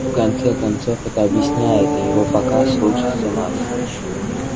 в конце концов это объясняет и его показ слушаться нас